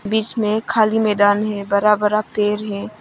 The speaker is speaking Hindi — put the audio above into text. बीच में एक खाली मैदान है बरा बरा पेर है।